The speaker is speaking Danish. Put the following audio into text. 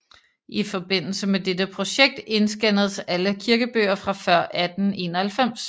I forbindelse med dette projekt indscannes alle kirkebøger fra før 1891